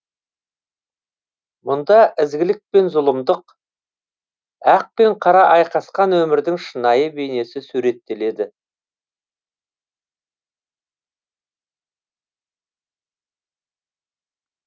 мұнда ізгілік пен зұлымдық ақ пен қара айқасқан өмірдің шынайы бейнесі суреттеледі